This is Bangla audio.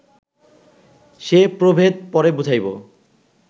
সে প্রভেদ পরে বুঝাইব